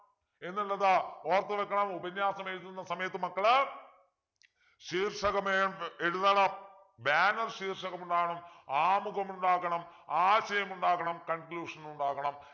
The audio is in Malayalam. എന്നുള്ളത് ഓർത്തുവയ്ക്കണം ഉപന്യാസം എഴുതുന്ന സമയത്ത് മക്കള് ശീർഷകം ഏർ എഴുതണം banner ശീർഷകം ഉണ്ടാവണം ആമുഖം ഉണ്ടാകണം ആശയം ഉണ്ടാകണം conclusion ഉണ്ടാകണം